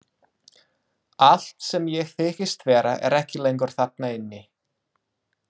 Allt sem ég þykist vera er ekki lengur þarna inni.